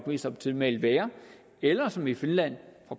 mest optimale eller som i finland